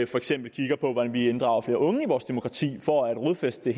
for eksempel kigger på hvordan vi inddrager flere unge i vores demokrati for at rodfæste